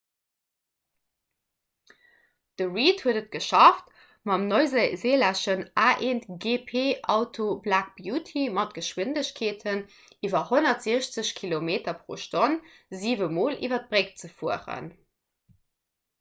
de reid huet et geschafft mam neuseelänneschen a1gp-auto black beauty mat geschwindegkeeten iwwer 160 km/h siwe mol iwwer d'bréck ze fueren